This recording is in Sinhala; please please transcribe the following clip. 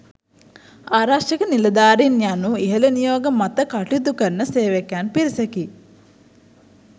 ආරක්ෂක නිලධාරීන් යනු ඉහළ නියෝග මත කටයුතු කරන සේවකයන් පිරිසකි.